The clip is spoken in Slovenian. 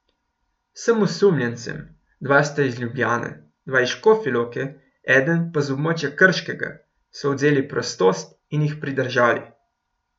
Vsem osumljencem, dva sta iz Ljubljane, dva iz Škofje Loke, eden pa z območja Krškega, so odvzeli prostost in jih pridržali.